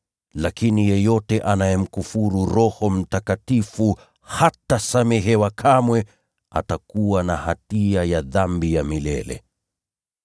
Lakini yeyote anayemkufuru Roho Mtakatifu hatasamehewa kamwe, atakuwa na hatia ya dhambi ya milele.”